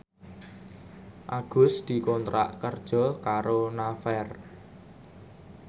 Agus dikontrak kerja karo Naver